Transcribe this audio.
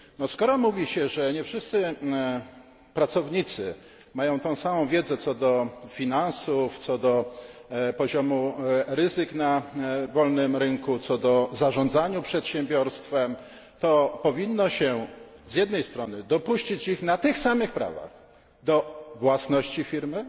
Skoro mówi się, że nie wszyscy pracownicy mają tę samą wiedzę co do finansów, co do poziomu ryzyka na wolnym rynku, co do zarządzania przedsiębiorstwem, to powinno się z jednej strony dopuścić ich na tych samych prawach do własności firmy,